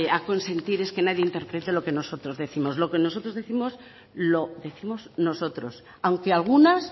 a consentir es que nadie interprete lo que nosotros décimos lo que nosotros décimos lo décimos nosotros aunque algunas